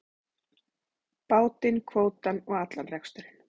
Bátinn, kvótann og allan reksturinn.